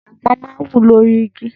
Àgbọn máa ń wù lórí igi.